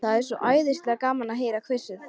Það er svo æðislega gaman að heyra hvissið.